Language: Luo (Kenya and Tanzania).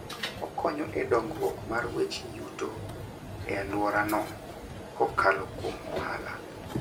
Okonyo e dongruok mar weche yuto e alworano kokalo kuom ohala.